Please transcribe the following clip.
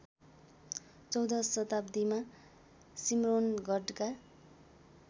चौधौँ शताब्दीमा सिम्रौनगढका